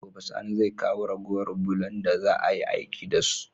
Gobe sani zai kawo ragowar bulon da za ayi aiki da su